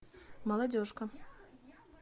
молодежка